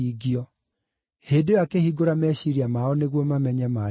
Hĩndĩ ĩyo akĩhingũra meciiria mao nĩguo mamenye Maandĩko.